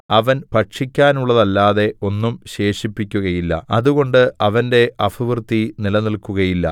അവൻ ഭക്ഷിക്കാനുള്ളതല്ലാതെ ഒന്നും ശേഷിപ്പിക്കുകയില്ല അതുകൊണ്ട് അവന്റെ അഭിവൃദ്ധി നിലനില്‍ക്കുകയില്ല